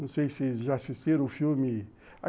Não sei se já assistiram o filme.